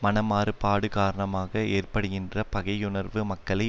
மனமாறுபாடு காரணமாக ஏற்படுகின்ற பகையுணர்வு மக்களை